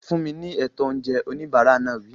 Fún mi ní ètò oúnjẹ! Oníbàárà náà wí.